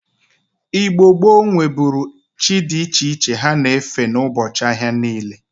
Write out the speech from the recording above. Igno gboo nweburu chi di iche ha na-efe n'ubochi ahia ha niile.